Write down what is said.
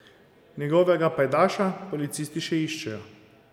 Njegovega pajdaša policisti še iščejo.